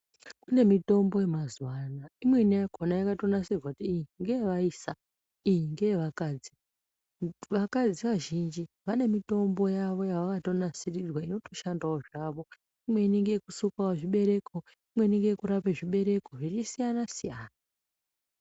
Kune mitombo yemazuva ano, imweni yakhona yakatonasirwa ichinzi ngeyevaisa, iyi ngeyevakadzi. Vakadzi vazhinji vane mitombo yavo yavakatonasirirwa inotoshandawo zvavo. Imweni ngeyekusukawo zvibereko, imweni ngeyekurape zvibereko, zveisiyana-siyana.